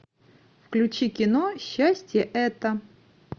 включи кино счастье это